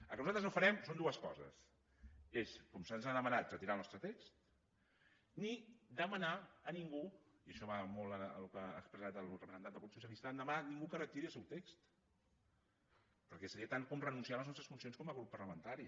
el que nosaltres no farem són dues coses és com se’ns ha demanat retirar el nostre text ni demanar a ningú i això va molt amb el que ha expressat el representant del grup socialista que retiri el seu text perquè seria tant com renunciar a les nostres funcions com a grup parlamentari